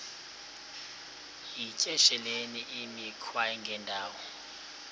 yityesheleni imikhwa engendawo